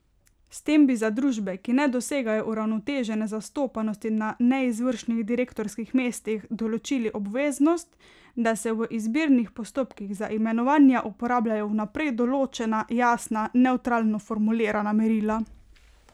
S tem bi za družbe, ki ne dosegajo uravnotežene zastopanosti na neizvršnih direktorskih mestih, določili obveznost, da se v izbirnih postopkih za imenovanja uporabljajo vnaprej določena, jasna, nevtralno formulirana merila.